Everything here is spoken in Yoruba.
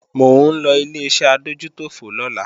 Mò ń lọ Ileṣẹ́ adójútòfò lọ́la